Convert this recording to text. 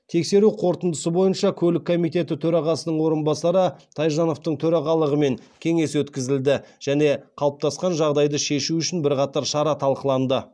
тексеру қорытындысы бойынша көлік комитеті төрағасының орынбасары тайжановтың төрағалығымен кеңес өткізілді және қалыптасқан жағдайды шешу үшін бірқатар шара талқыланды